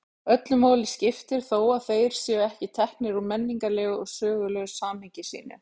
Öllu máli skiptir þó að þeir séu ekki teknir úr menningarlegu og sögulegu samhengi sínu.